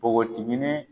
Npogotiginin